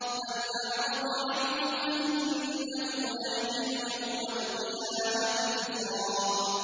مَّنْ أَعْرَضَ عَنْهُ فَإِنَّهُ يَحْمِلُ يَوْمَ الْقِيَامَةِ وِزْرًا